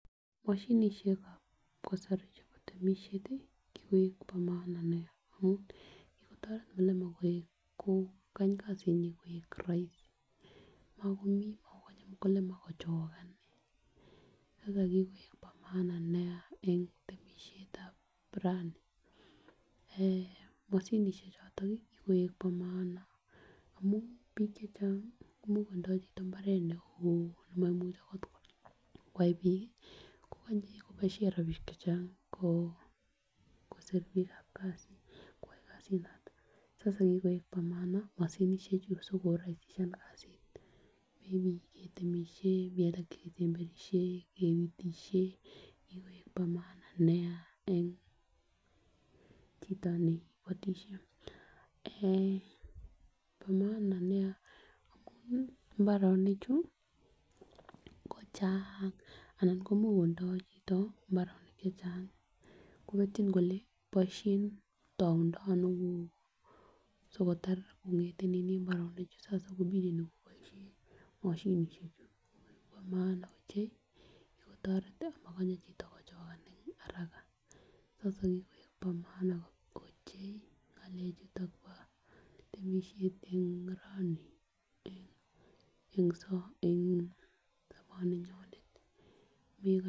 Moshinishekab kasari chebo temishet tii kikoik bo maana nia kikotoret mukulima koik kokany kasinyin koik roisi mokomji mokonye mukulima kochikan nii sasa kikoik bo maana nia en temishetab rani eeh moshinishek choton kikoik bo maana amun bik chechang much kotindo chito mbaret neo nemoimuche okot kwai bik kii kokonye koboishen rabinik chechang ko kosir bikab kasit koyai kasit noton sasa kikoik bo maana moshinishek chuu sikoraisishan kasit mii cheketemish, mii alak chekesemberishen, kepitishen kikoik bo maana nia en chito ne ibotishe eeh bo maana nia amun imbarenik chuu kocheng ana komuch kotindo chito mbaronok chechang kobetyin kole boishen toundo Ono ko sikotar kongeten nini imbaranik chuu sasa komineni koboishen moshinishek chu amun bo maana ochei kikotoret tii mokonye chito kochikan en haraka sasa kikoik bo maana ochei ngalek chuton bo temishet en rani en so en soboninyonet Miko.